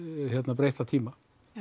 breytta tíma